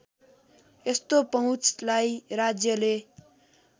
यस्तो पहुँचलाई राज्यले